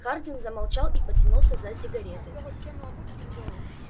хардин замолчал и потянулся за сигаретой